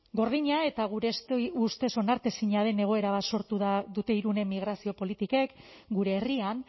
gordina eta gure ustez onartezina den egoera bat sortu dute irunen migrazio politikek gure herrian